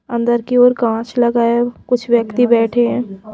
अंदर की ओर कांच लगा है कुछ व्यक्ति बैठे हैं।